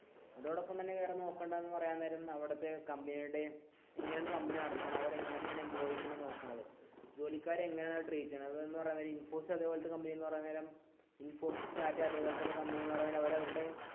ഇതോടപ്പം തന്നെ വേറെനോക്കണ്ടത് എന്ന് പറയാൻ നേരം അവിടത്തെ കമ്പനിയുടെ ജോലിക്കാരെ എങ്ങനെയാണ് ട്രെയിൻ ചെയ്യുന്നത് എന്ന് പറയാൻ നേരം അവർ അവരുടെ